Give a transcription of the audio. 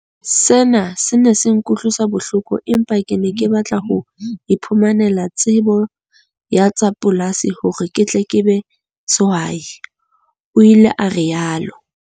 "Sena se ne se nkutlwisa bohloko empa ke ne ke batla ho iphumanela tsebo ya tsa polasi hore ke tle ke be sehwai," o ile a rialo.